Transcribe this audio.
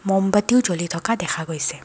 ম'মবাত্তিও জ্বলি থকা দেখা গৈছে।